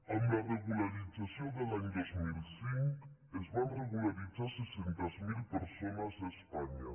amb la regularització de l’any dos mil cinc es van regularitzar set cents miler persones a espanya